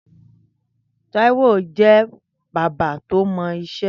Taiwo jẹ̀ bàbà tó mọ iṣẹ̀